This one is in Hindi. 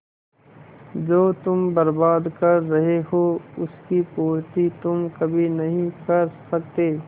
जो तुम बर्बाद कर रहे हो उसकी पूर्ति तुम कभी नहीं कर सकते